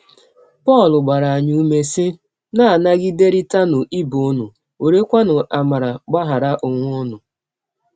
Pọl gbara anyị ụme, sị: “ Na - anagiderịtanụ ibe ụnụ, werekwanụ amara gbaghara ọnwe ụnụ. ”